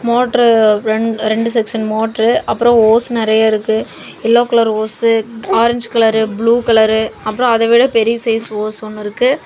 Motor ரென் ரெண்டு section motor அப்புறம் ஓஸ் நிறைய இருக்கு yellow colour hose orange colour blue colour அப்புறம் அதவிட பெரிய சைஸ் ஓஸ் ஒன்னு இருக்கு.